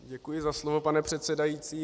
Děkuji za slovo, pane předsedající.